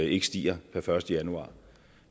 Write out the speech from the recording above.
ikke stiger per første januar